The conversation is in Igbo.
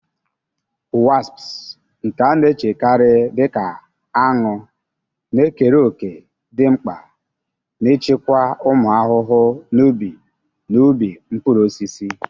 Wasps, nke a na-echekarị dị ka aṅụ, na-ekere òkè dị mkpa n'ịchịkwa ụmụ ahụhụ n'ubi na ubi mkpụrụ osisi.